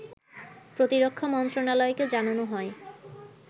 প্রতিরক্ষা মন্ত্রণালয়কে জানানো হয়